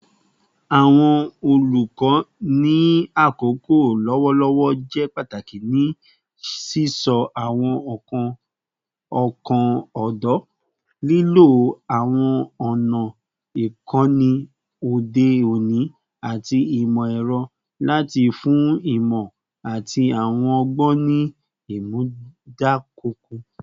Awọn olukọ ni akoko lọwọlọwọ jẹ pataki ni sisọ awọn ọkan ọdọ, lilo awọn ọna ikọni ode oni ati imọ-ẹrọ lati fun imọ ati awọn ọgbọn ni imunadoko